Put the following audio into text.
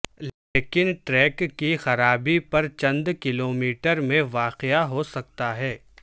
لیکن ٹریک کی خرابی پر چند کلومیٹر میں واقع ہو سکتا ہے